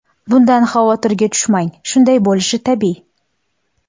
Bundan xavotirga tushmang – shunday bo‘lishi tabiiy.